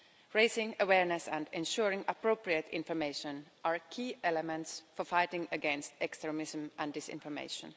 Raising awareness and ensuring appropriate information are key elements for fighting against extremism and disinformation.